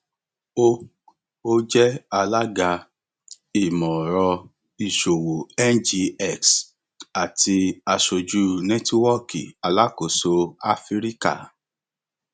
ó ó jẹ alága ìmọọrọ ìṣòwò ngx àti aṣojú nẹtíwọọkì alákóso áfíríkà